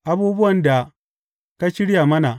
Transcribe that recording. Abubuwan da ka shirya mana.